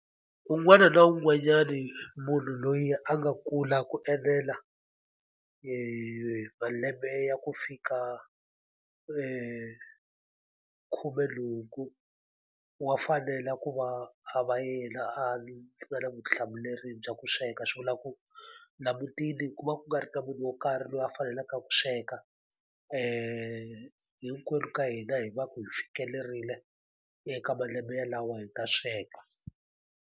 Un'wana na un'wanyani munhu loyi a nga kula ku enela malembe ya ku fika khumenhungu, wa fanela ku va a va yena a a nga na vutihlamuleri bya ku sweka. Swi vula ku laha mutini ku va ku nga ri na munhu wo karhi loyi a faneleke ku sweka hinkwenu ka hina hi va ku hi fikelerile eka malembe yalawo hi ta sweka.